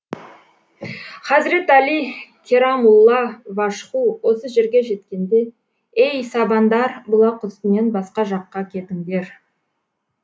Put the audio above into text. хазрет әли керамулла важһу осы жерге жеткенде ей сабандар бұлақ үстінен басқа жаққа кетіңдер